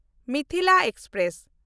Mithila express